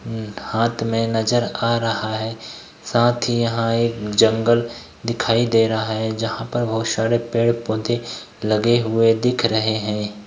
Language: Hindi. हम्म हाथ में नजर आ रहा है साथ यहाँ एक जंगल दिखई दे रहा है जहाँ पर बहुत सारे पेड़-पौधे लगे हुए दिख रहे हैं।